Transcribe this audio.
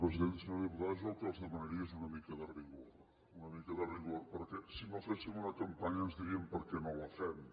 senyora diputada jo el que els demanaria és una mica de rigor una mica de rigor perquè si no féssim una campanya ens dirien que per què no la fem